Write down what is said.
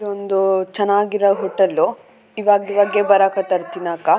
ಇದೊಂದು ಚೆನ್ನಾಗಿರೊ ಹೊಟೇಲ್ ಇವ್ವಗಿವಾಗೆ ಬರಕತ್ತರ ತಿನ್ನಾಕ.